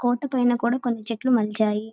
కోట పైన కూడా కొన్ని చెట్లు మొలిచాయి.